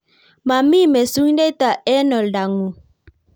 Mami mesundeita eng� oldang�ung�